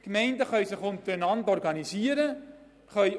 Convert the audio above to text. Die Gemeinden können sich untereinander organisieren und sich absprechen.